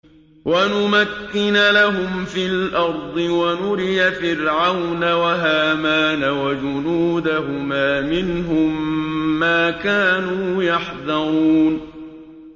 وَنُمَكِّنَ لَهُمْ فِي الْأَرْضِ وَنُرِيَ فِرْعَوْنَ وَهَامَانَ وَجُنُودَهُمَا مِنْهُم مَّا كَانُوا يَحْذَرُونَ